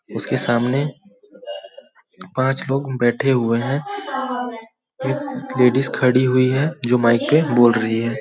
उसके सामने पांच लोग बैठे हुए हैं एक लेडीज खड़ी हुई है जो माइक पे बोल रही है।